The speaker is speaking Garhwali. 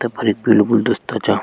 तफर एक पीलू गुलदस्ता चा।